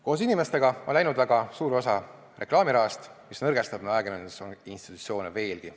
Koos inimestega on läinud väga suur osa reklaamirahast, mis nõrgestab ajakirjandusinstitutsioone veelgi.